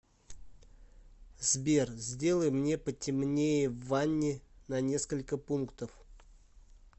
сбер сделай мне потемнее в ванне на несколько пунктов